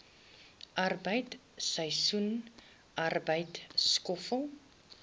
arbeid seisoensarbeid skoffel